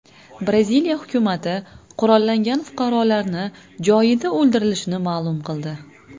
Braziliya hukumati qurollangan fuqarolarni joyida o‘ldirilishini ma’lum qildi.